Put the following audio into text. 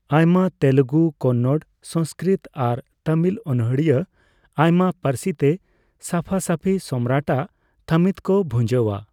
ᱟᱭᱢᱟ ᱛᱮᱞᱮᱜᱩ, ᱠᱚᱱᱱᱚᱲ, ᱥᱚᱝᱥᱠᱨᱤᱛ ᱟᱨ ᱛᱟᱢᱤᱞ ᱚᱱᱚᱲᱦᱤᱭᱟᱹ ᱟᱭᱢᱟ ᱯᱟᱹᱨᱥᱤ ᱛᱮ ᱥᱟᱯᱷᱟᱥᱟᱯᱤ ᱥᱚᱢᱨᱟᱴ ᱟᱜ ᱛᱷᱟᱢᱤᱛ ᱠᱚ ᱵᱷᱩᱡᱟᱹᱣᱟ ᱾